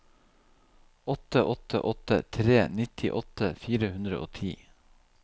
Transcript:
åtte åtte åtte tre nittiåtte fire hundre og ti